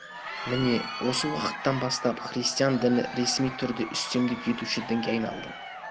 міне осы уақыттан бастап христиан діні ресми түрде үстемдік етуші дінге айналды